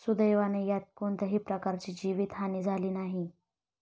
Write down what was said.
सुदैवाने यात कोणत्याही प्रकारची जीवित हानी झाली नाही.